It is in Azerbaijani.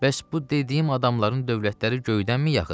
Bəs bu dediyim adamların dövlətləri göydənmi yağıb?